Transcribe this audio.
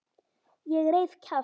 Ég reif kjaft.